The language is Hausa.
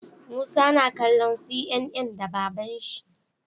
Musa na kallo CNN da baban shi